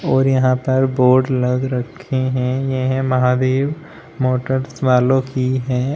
और यहां पर बोर्ड लग रखे हैं यह महादेव मोटर्स वालों की है।